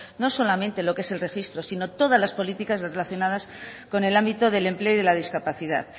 no solamente lo que es el registro sino todas las políticas relacionadas con el ámbito del empleo y de la discapacidad